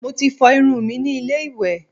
Mo ti fọ irun mi ní ilé ìwẹ̀